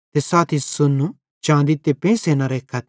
ते साथी सोन्नू चाँदी ते पेंइसे न रेखथ